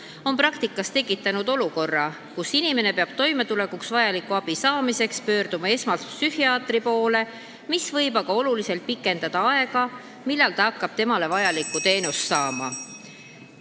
See on praktikas tekitanud olukorra, kus inimene peab toimetulekuks vajaliku abi saamiseks esmalt psühhiaatri poole pöörduma, mis võib aga oluliselt pikendada ooteaega, enne kui ta hakkab vajalikku teenust saama.